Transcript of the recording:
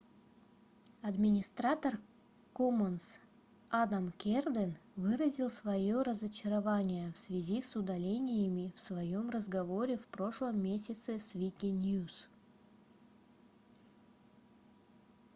администратор commons адам керден выразил своё разочарование в связи с удалениями в своем разговоре в прошлом месяце с wikinews